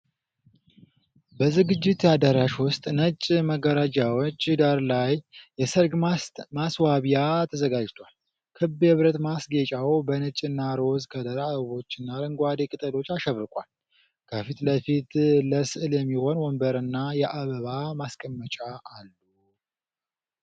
በዝግጅት አዳራሽ ውስጥ ነጭ መጋረጃዎች ዳራ ላይ የሠርግ ማስዋቢያ ተዘጋጅቷል። ክብ የብረት ማስጌጫው በነጭና ሮዝ ከለር አበቦችና አረንጓዴ ቅጠሎች አሸብርቋል። ከፊት ለፊት ለስዕል የሚሆን ወንበርና የአበባ ማስቀመጫዎች አሉ።